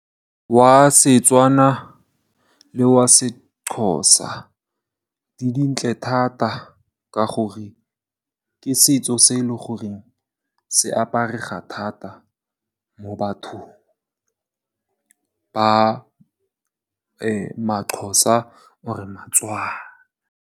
Wa Setswana le wa Sexhosa, di dintle thata ka gore ke setso se e leng gore se aparega thata mo bathong ba ma-Xhosa or-re ba-Tswana.